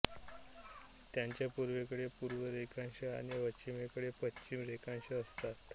त्याच्या पूर्वेकडे पूर्व रेखांश आणि पश्चिमेकडे पश्चिम रेखांश असतात